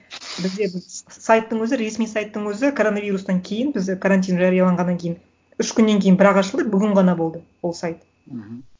сайттың өзі ресми сайттың өзі коронавирустан кейін бізде карантин жарияланғаннан кейін үш күннен кейін бірақ ашылды бүгін ғана болды ол сайт мхм